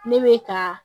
Ne bɛ ka